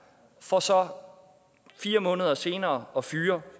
for så fire måneder senere at fyre